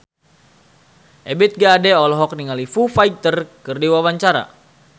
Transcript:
Ebith G. Ade olohok ningali Foo Fighter keur diwawancara